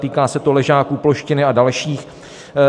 Týká se to Ležáků, Ploštiny a dalších.